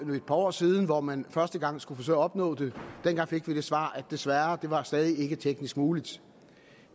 et par år siden for hvornår man første gang skulle forsøge at opnå det dengang fik vi det svar at det desværre stadig ikke var teknisk muligt